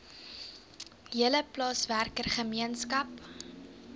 hele plaaswerker gemeenskap